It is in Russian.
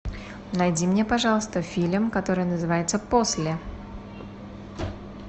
найди мне пожалуйста фильм который называется после